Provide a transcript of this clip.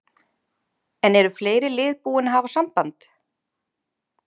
En eru fleiri lið búin að hafa samband?